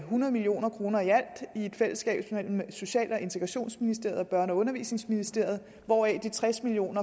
hundrede million kroner i et fællesskab mellem social og integrationsministeriet og børne og undervisningsministeriet hvoraf de tres million